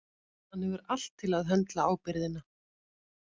Hann hefur allt til að höndla ábyrgðina.